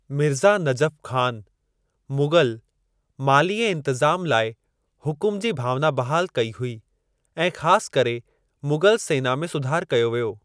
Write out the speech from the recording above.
मिर्ज़ा नजफ़ ख़ान, मुग़ल माली ऐं इंतिज़ाम लाइ हुकुम जी भावना बहाल कई हुई ऐं ख़ासि करे मुग़ल सेना में सुधार कयो वियो।